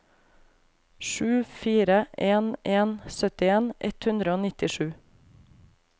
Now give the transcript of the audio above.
sju fire en en syttien ett hundre og nittisju